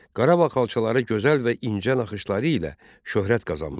Qarabağ xalçaları gözəl və incə naxışları ilə şöhrət qazanmışdı.